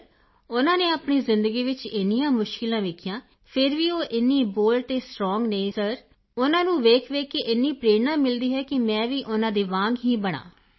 sir ਉਨ੍ਹਾਂ ਨੇ ਆਪਣੀ ਜ਼ਿੰਦਗੀ ਵਿੱਚ ਇੰਨੀਆਂ ਮੁਸ਼ਕਿਲਾਂ ਵੇਖੀਆਂ ਹਨ ਫਿਰ ਵੀ ਉਹ ਇੰਨੀ ਬੋਲਡ ਅਤੇ ਸਟ੍ਰੌਂਗ ਹਨ ਸਰ ਉਨ੍ਹਾਂ ਨੂੰ ਵੇਖਵੇਖ ਕੇ ਇੰਨੀ ਪ੍ਰੇਰਣਾ ਮਿਲਦੀ ਹੈ ਕਿ ਮੈਂ ਵੀ ਉਨ੍ਹਾਂ ਦੇ ਵਾਂਗ ਹੀ ਬਣਾਂ